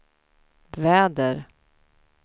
väder